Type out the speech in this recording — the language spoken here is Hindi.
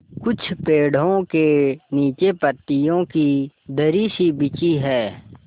कुछ पेड़ो के नीचे पतियो की दरी सी बिछी है